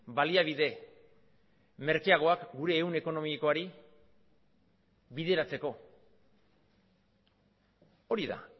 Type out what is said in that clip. baliabide merkeagoak gure ehun ekonomikoari bideratzeko hori da